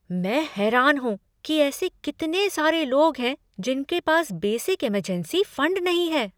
मैं हैरान हूं कि ऐसे कितने सारे लोग हैं जिनके पास बेसिक इमरजेंसी फंड नहीं है।